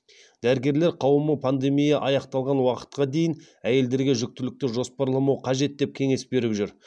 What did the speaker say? дәрігерлер қауымы пандемия аяқталған уақытқа дейін әйелдерге жүктілікті жоспарламау қажет деп кеңес беріп жүр